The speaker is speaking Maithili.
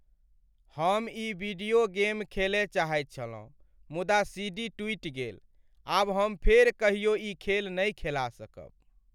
हम ई वीडियो गेम खेलय चाहैत छलहुँ मुदा सीडी टुटि गेल। आब हम फेर कहियो ई खेल नहि खेला सकब।